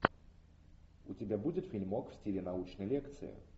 у тебя будет фильмок в стиле научной лекции